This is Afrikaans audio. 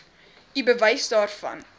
u bewys daarvan